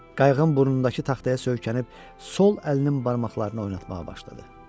Qayığın burnundakı taxtaya söykənib sol əlinin barmaqlarını oynatmağa başladı.